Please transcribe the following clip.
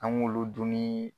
An k'olu dunni.